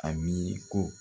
A mi ko